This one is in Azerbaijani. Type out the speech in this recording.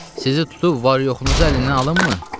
Sizi tutub var-yoxunuzu əlindən alımmı?